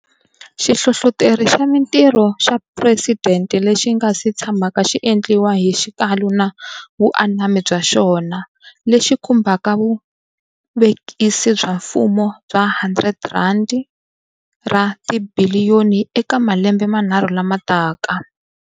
Xihlohloteri xa Mitirho xa Phuresidente lexi nga si tshamaka xi endliwa hi xikalu na vuanami bya xona, lexi khumbaka vuvekisi bya mfumo bya R100 ra tibiliyoni eka malembe manharhu lama taka.